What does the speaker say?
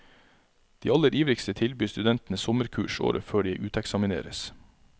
De aller ivrigste tilbyr studentene sommerkurs året før de uteksamineres.